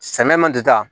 Samiya man di ta